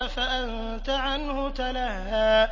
فَأَنتَ عَنْهُ تَلَهَّىٰ